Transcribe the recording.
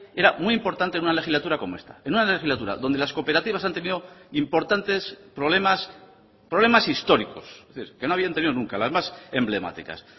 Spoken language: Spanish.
era muy importante en una legislatura como esta en una legislatura donde las cooperativas han tenido importantes problemas problemas históricos que no habían tenido nunca las más emblemáticas